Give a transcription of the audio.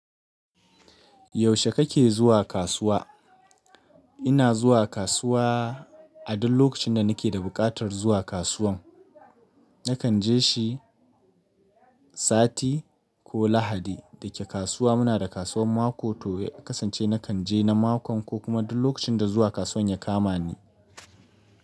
Yaushe kake zuwa kasuwa? Ina zuwa kasuwa a duk lokacin da nake da buƙatar zuwa kasuwan. Nakan je shi sati ko Lahadi. Dake kasuwa muna da kasuwar mako to ya kasance nakan je na mako ko kuma duk lokacin da zuwa kasuwan ya kama ni.